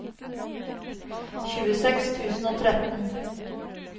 tjueseks tusen og tretten